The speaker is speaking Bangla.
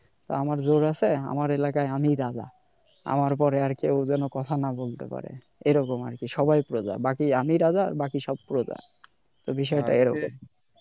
আমার জোর আছে আমার এলাকায় আমি রাজা, আমার পরে আর কেউ যেন কথা না বলতে পারে, এরকম আরকি সবাই প্রজা আমি রাজা বাকি সব প্রজা, তো বিষটা এরকম